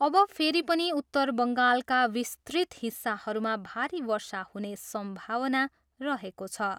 अब फेरि पनि उत्तर बङ्गालका विस्तृत हिस्साहरूमा भारी वर्षा हुने सम्भावना रहेको छ।